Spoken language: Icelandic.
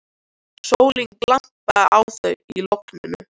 Sólin glampaði á þau í logninu.